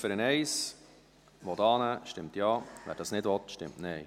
Wer die Ziffer 1 annehmen will, stimmt Ja, wer dies nicht will, stimmt Nein.